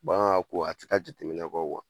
Bɔ aan ko a te taa jateminɛ kɔ .